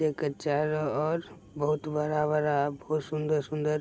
एक और बहुत बड़ा-बड़ा बहुत सुन्दर-सुन्दर --